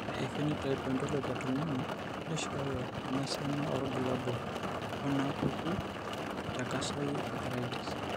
Ore ephenotype ontology etung'ani neishooyo enasiana oorbulabul onaapuku eTakayasu arteritis.